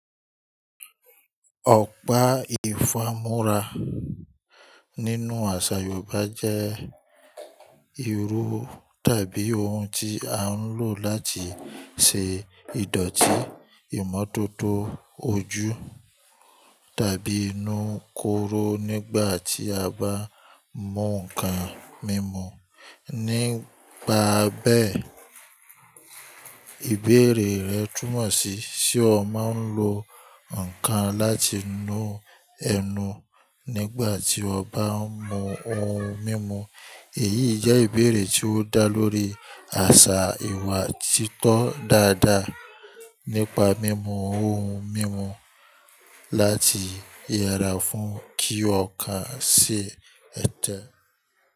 Ọ̀pá ìfámúrá nínú àṣà yoòbá jẹ́ irú tàbí ohun tí a ń lò láti ṣe ìdọ̀tí ìmọ̀tótó ojú tàbí inú kóró nígbà tí a bá mu nǹkan mímu. Nipa bẹ́ẹ̀, ìbéèrè rẹ túmọ̀ sí, ṣe ò máa ń lo nǹkan láti nu ẹnu nígbà tí o bá ń mu ohun mímu? Èyí jẹ́ ìbéèrè tí ó dá lórí àṣà ìwà títọ́ dáadáa nípa mímu ohun mímu láti yẹra fún kí ọkàn ṣe ẹtẹ.